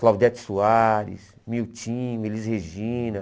Claudete Soares, Miltinho, Elis Regina.